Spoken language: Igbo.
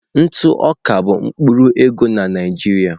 Ntụ oká bụ mkpụrụ ego na Naịjirịa.